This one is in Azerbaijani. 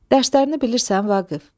Dərslərini bilirsən, Vaqif?